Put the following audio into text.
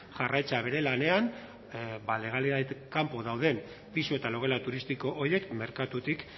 jarraitzea bere lanean legalitatez kanpo dauden pisu eta logela turistiko horiek merkatutik